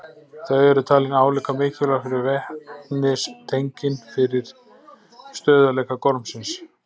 Þau eru talin álíka mikilvæg og vetnistengin fyrir stöðugleika gormsins.